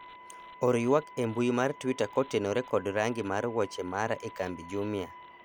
or ywak e mbui mar twita kotenore kod rangi mar wuoche mara e kambi jumia